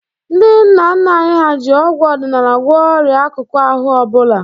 Ndị nna nna anyị ha ji ọgwụ ọdịnala gwọọ ọrịa akụkụ ahụ ọ bụla.